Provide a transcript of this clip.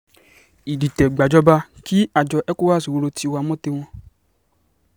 ìdìtẹ̀-gbàjọba kí àjọ ecowas ro tiwa mọ́ tiwọn